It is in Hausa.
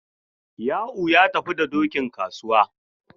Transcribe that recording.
Ya'u ya tafi da dokin kasuwa.